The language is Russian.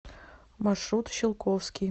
маршрут щелковский